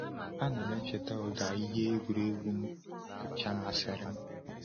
A na m echeta ụda nke ihe egwuregwu m kacha masịrị m.